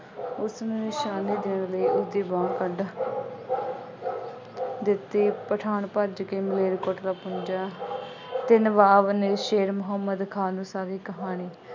ਉਸਨੇ ਦੀ ਬਾਂਹ ਵੱਢ ਦਿੱਤੀ ਪਠਾਨ ਭੱਜ ਕੇ ਮਲੇਰਕੋਟਲਾ ਪਹੁੰਚਿਆ ਅਤੇ ਨਵਾਬ ਮਲੇਰਕੋਟਲਾ ਸ਼ੇਰ ਮੁਹੰਮਦ ਖਾਨ ਨੂੰ ਸਾਰੀ ਕਹਾਣੀ